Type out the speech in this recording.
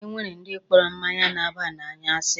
E nwere ndi kpọrọ mmanya na-aba n'anya asi.